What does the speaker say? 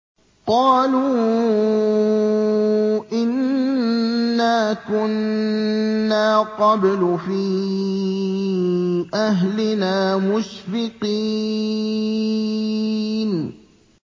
قَالُوا إِنَّا كُنَّا قَبْلُ فِي أَهْلِنَا مُشْفِقِينَ